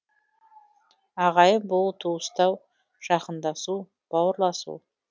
ағайын болу туыстау жақындасу бауырласу